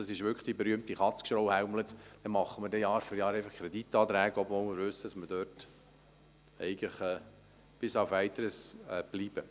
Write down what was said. Das ist ziemlich sinnlos, denn dann machen wir Jahr für Jahr Kreditanträge, obwohl wir wissen, dass wir dort bis auf Weiteres bleiben.